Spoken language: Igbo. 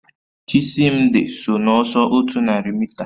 Chisimdi so n'ọsọ otu narị mita